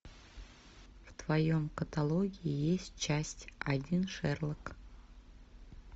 в твоем каталоге есть часть один шерлок